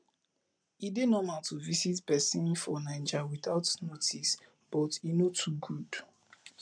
e dey normal to visit pesin for naija witout notice but e no too good